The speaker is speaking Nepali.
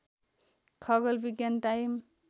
खगोल विज्ञान टाइम